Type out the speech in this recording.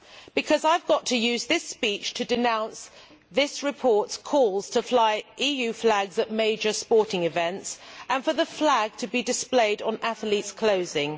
Because I have to use this speech to denounce this report's calls to fly EU flags at major sporting events and for the flag to be displayed on athletes' clothing.